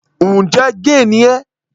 Ǹjẹ́ géè ni ẹ́?